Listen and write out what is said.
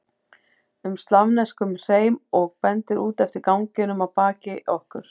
um slavneskum hreim og bendir út eftir ganginum að baki okkur.